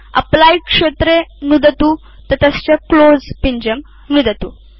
apply क्षेत्रे नुदतु ततश्च क्लोज़ पिञ्जं नुदतु